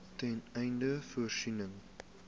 ten einde voorsiening